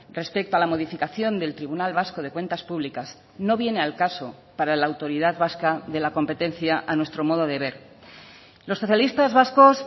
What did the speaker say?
respecto a la modificación del tribunal vasco de cuentas públicas no viene al caso para la autoridad vasca de la competencia a nuestro modo de ver los socialistas vascos